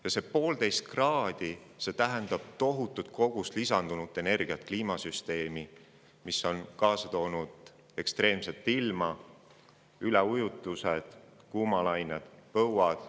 Ja 1,5 kraadi globaalset soojenemist tähendab tohutut kogust lisandunud energiat kliimasüsteemi, mis on kaasa toonud ekstreemse ilma, üleujutused, kuumalained ja põuad.